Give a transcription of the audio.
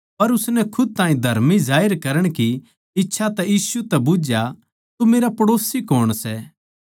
पर उसनै खुद ताहीं धर्मी ठहराण की मर्जी तै यीशु तै बुझ्झया तो मेरा पड़ोसी कौण सै